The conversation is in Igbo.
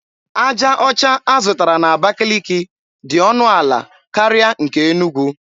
Aja ọcha a zụtara n’Abakiliki dị ọnụ ala karịa nke Enugwu.